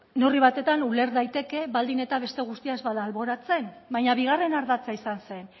neurri batetan uler daiteke baldin eta beste guztia ez bada alboratzen baina bigarren ardatza izan zen